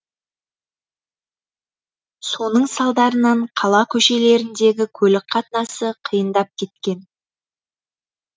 соның салдарынан қала көшелеріндегі көлік қатынасы қиындап кеткен